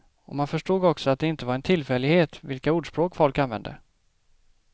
Och man förstod också att det inte var en tillfällighet vilka ordspråk folk använde.